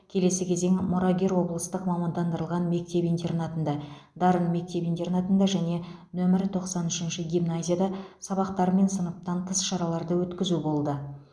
келесі кезең мұрагер облыстық мамандандырылған мектеп интернатында дарын мектеп интернатында және нөмірі тоқсан үшінші гимназияда сабақтар мен сыныптан тыс іс шараларды өткізу болды